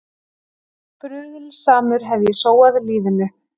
Bruðlsamur hef ég sóað lífinu.